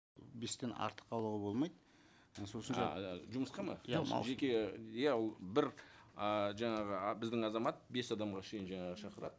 бестен артық алуға болмайды ы сосын ааа жұмысқа ма иә жеке иә бір ыыы жаңағы біздің азамат бес адамға шейін жаңағы шақырады